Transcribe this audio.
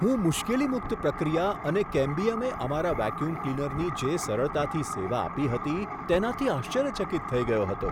હું મુશ્કેલી મુક્ત પ્રક્રિયા અને કેમ્બિયમે અમારા વેક્યૂમ ક્લીનરની જે સરળતાથી સેવા આપી હતી તેનાથી આશ્ચર્યચકિત થઈ ગયો હતો.